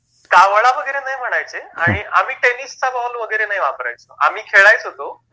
नाही, कावळा वगैरे नाही म्हणायचे. आणि आम्ही टेनिसचा बॉल वगैरे नाही वापरायचो, आम्ही खेळायचो तो